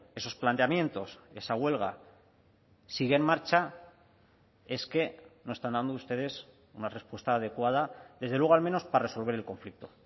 esos planteamientos esa huelga sigue en marcha es que no están dando ustedes una respuesta adecuada desde luego al menos para resolver el conflicto